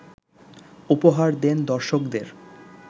উপহার দেন দর্শকদের